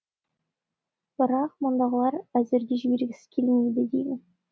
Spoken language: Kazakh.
бірақ мұндағылар әзірге жібергісі келмейді деймін